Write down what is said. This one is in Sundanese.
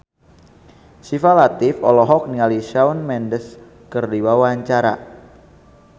Syifa Latief olohok ningali Shawn Mendes keur diwawancara